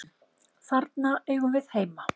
þarna eigum við heima